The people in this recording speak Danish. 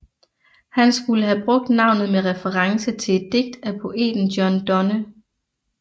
Han skulle have brugt navnet med reference til et digt af poeten John Donne